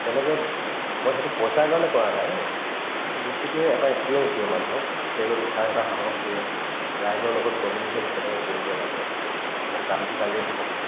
to তেনেকে উব মই সেইটো পইচাৰ কাৰণে কৰা নাই সেই বস্তুতোয়ে এটা experience দিয়ে মানুহক stage ত উঠাৰ এটা সাহস দিয়ে ৰাইজৰ লগত communicate কেনেকে কৰিব লাগে অকল গানটো গালেইতো নহব